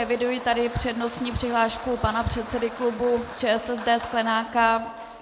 Eviduji tady přednostní přihlášku pana předsedy klubu ČSSD Sklenáka.